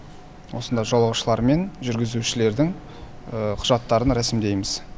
осында жолаушылар мен жүргізушілердің құжаттарын рәсімдейміз